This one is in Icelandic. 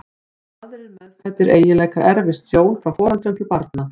Eins og aðrir meðfæddir eiginleikar erfist sjón frá foreldrum til barna.